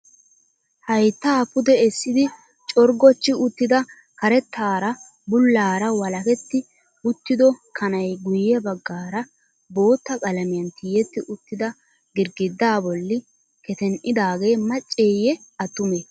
Hayttaa pude essidi corggochchi uttida karettaara bullaara walaketti uttido kanay guye baggaara bootta qalamiyan tiyetti uttida girggidda bolli keten"idaagee macceeyye attumee?